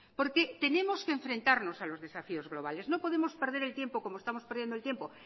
porque tenemos que enfrentarnos a los desafíos globales no podemos perder el tiempo como estamos perdiendo el tiempo